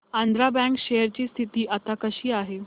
Andhra bank share ची स्थिती आता कशी आहे